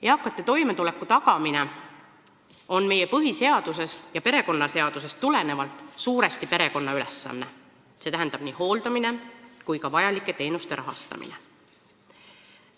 Eakate toimetuleku tagamine on meie põhiseadusest ja perekonnaseadusest tulenevalt suuresti perekonna ülesanne, st nii hooldamine kui ka vajalike teenuste rahastamine.